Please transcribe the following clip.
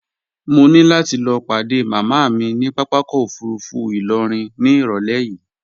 Mo ní láti lọ padé màmá mi ní papákọ̀ òfurufú ìlọrin ní irọ̀lẹ́ yìí